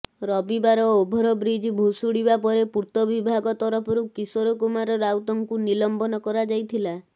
ରବିବାର ଓଭରବ୍ରିଜ୍ ଭୁଶୁଡିବା ପରେ ପୂର୍ତ୍ତ ବିଭାଗ ତରଫରୁ କିଶୋର କୁମାର ରାଉତଙ୍କୁ ନିଲମ୍ବନ କରାଯାଇଥିଲା